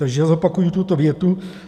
Takže zopakuji tuto větu.